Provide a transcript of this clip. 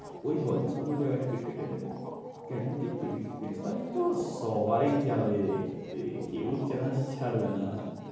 ওই hall এ অন্য জায়গায় টিকিট কেটে নেবে। সবাই যাবেরে দেখতে কেউ chance ছাড়বে না।